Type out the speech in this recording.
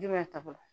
Jumɛn ta tɔgɔ